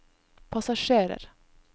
passasjerer